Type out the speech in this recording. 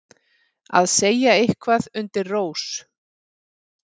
Að segja eitthvað undir rós